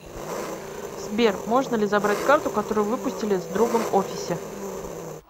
сбер можно ли забрать карту которую выпустили с другом офисе